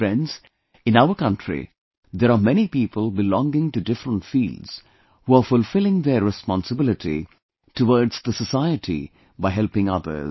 Friends, in our country there are many people belonging to different fields, who are fulfilling their responsibility towards the society by helping others